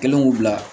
Kelen k'u bila